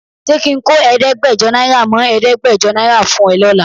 Ṣé ki ń kó ẹ̀ẹ́dẹ́gbẹ́jọ náírà mọ́ ẹ̀ẹ́dẹ́gbẹ̀jọ náírà fún ẹ lọ́la?